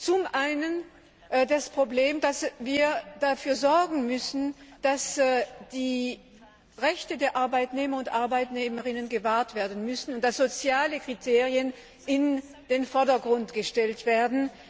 Zum einen das Problem, dass wir dafür sorgen müssen, dass die Rechte der Arbeitnehmerinnen und Arbeitnehmer gewahrt werden müssen und dass soziale Kriterien in den Vordergrund gestellt werden.